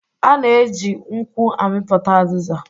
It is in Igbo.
A na-eji nkwụ amịpụta azịza